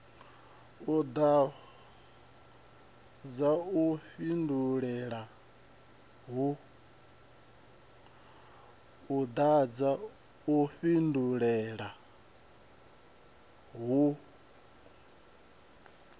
no ḓadza u fhindulela uhu